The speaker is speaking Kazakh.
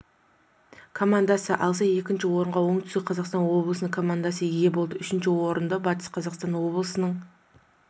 командасы алса екінші орынға оңтүстік қазақстан облысының командасы ие болды үшінші орынды батыс қазақстан облысының